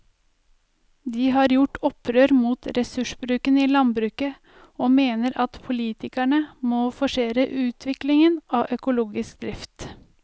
De har gjort opprør mot ressursbruken i landbruket og mener at politikerne må forsere utviklingen av økologisk drift.